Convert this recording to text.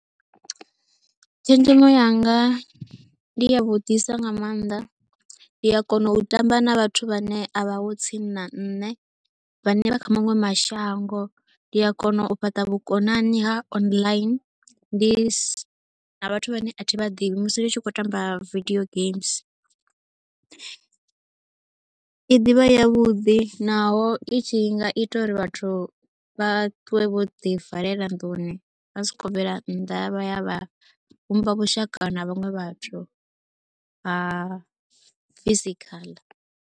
Tshenzhemo yanga ndi ya vhuḓisa nga maanḓa, ndi a kona u tamba na vhathu vhane a vhahotsini na nṋe vhane vha kha maṅwe mashango. Ndi a kona u fhaṱa vhukonani ha online, ndi na vhathu vhane a thi vha ḓivhi musi ndi tshi khou tamba video games. I ḓi vha ya vhuḓi naho i tshi nga ita uri vhathu vha ṱuwe vho ḓivalela nḓuni vha sa khou bvela nnḓa vha ya vha vhumba vhushaka na vhaṅwe vhathu ha physical.